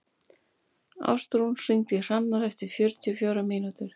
Ástrún, hringdu í Hrannar eftir fjörutíu og fjórar mínútur.